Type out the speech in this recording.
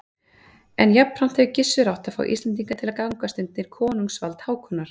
En jafnframt hefur Gissur átt að fá Íslendinga til að gangast undir konungsvald Hákonar.